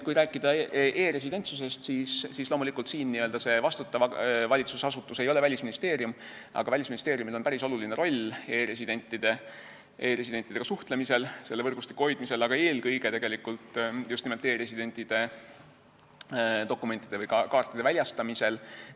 Kui rääkida e-residentsusest, siis loomulikult ei ole vastutav valitsusasutus siin Välisministeerium, aga Välisministeeriumil on päris oluline roll e-residentidega suhtlemisel ja selle võrgustiku hoidmisel, eelkõige just nimelt e-residentidele dokumentide või kaartide väljastamisel.